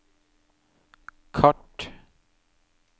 kart